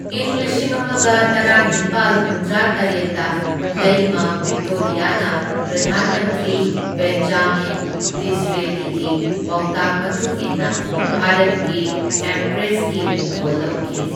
ꯢꯪ ꯂꯤꯁꯤꯡ ꯑꯃꯒ ꯇꯔꯥꯅꯤꯄꯥꯜ ꯍꯨꯝꯗ꯭ꯔꯥ ꯇꯔꯦꯠꯇ ꯂꯩꯃ ꯚꯤꯛꯇꯣꯔꯤꯌꯥꯅ ꯄ꯭ꯔꯙꯥꯟ ꯃꯟꯇ꯭ꯔꯤ ꯕꯦꯟꯖꯥꯃꯤꯟ ꯗꯤꯁꯔꯦꯂꯤꯒꯤ ꯄꯥꯎꯇꯥꯛ ꯃꯇꯨꯡ ꯏꯟꯅ ꯚꯥꯔꯠꯀꯤ ꯑꯦꯝꯄ꯭ꯔꯦꯁꯀꯤ ꯃꯤꯡꯊꯣꯜ ꯂꯧꯈꯤ꯫